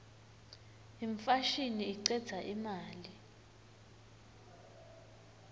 imfashini icedza imali